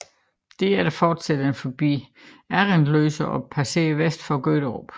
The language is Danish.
Derefter forsætter den forbi Assendløse og passerer vest om Gøderup